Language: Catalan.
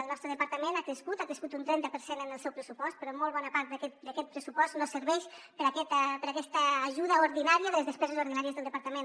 el nostre departament ha crescut ha crescut un trenta per cent en el seu pressupost però molt bona part d’aquest pressupost no serveix per a aquesta ajuda ordinària de les despeses ordinàries del departament